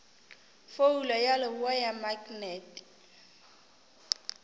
phoulo ya leboa ya maknete